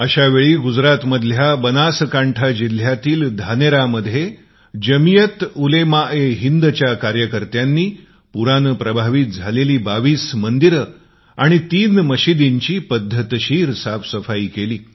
अश्या वेळी गुजरातमधील बनासकंठा जिल्ह्यातील धानेरामध्ये जमियात उलेमाएहिंदच्या कार्यकर्त्यांनी पुरानी प्रभावित 22 मंदिरे आणि 3 मस्जिदिची क्रमबद्ध पद्धतीने साफसफाई केली